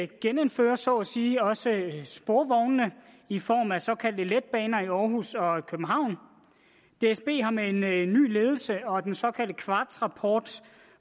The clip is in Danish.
genindfører så at sige også sporvogne i form af såkaldte letbaner i aarhus og københavn dsb har med en ny ledelse og den såkaldte quartzrapport